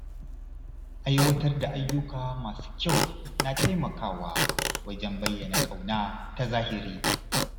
Aiwatar da ayyuka masu kyau na taimakawa wajen bayyana ƙauna ta zahiri.